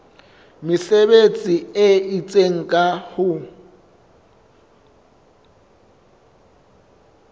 mesebetsi e itseng ka ho